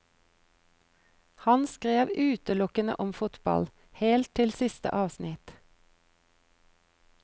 Han skrev utelukkende om fotball, helt til siste avsnitt.